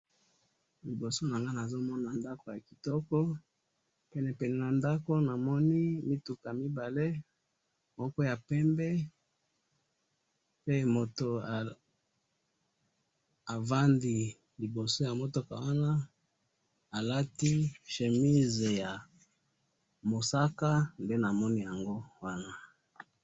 Liboso na nga nazo mona ndaku ya kitoko, pene pene na ndako namoni mituka mibale moko ya pembe pe moto avandi liboso ya mutuka wana alati chemise ya mosaka nde namoni yango wana